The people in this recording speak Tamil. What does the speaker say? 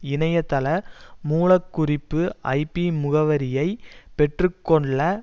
இணையத்தள மூலக்குறிப்பு ஐபி முகவரியை பெற்று கொள்ள